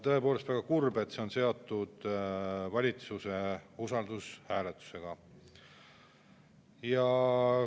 Tõepoolest, väga kurb, et see on seotud usaldushääletusega.